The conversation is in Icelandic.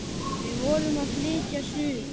Við vorum að flytja suður.